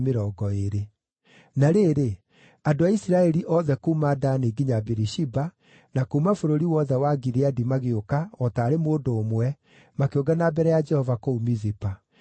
Na rĩrĩ, andũ a Isiraeli othe kuuma Dani nginya Birishiba, na kuuma bũrũri wothe wa Gileadi magĩũka o taarĩ mũndũ ũmwe, makĩũngana mbere ya Jehova kũu Mizipa.